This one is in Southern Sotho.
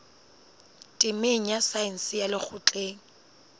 temeng ya saense ya lekgotleng